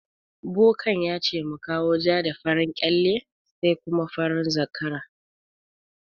Bokan yace mu kawo ja da farin kyalle sai kuma farin zakara.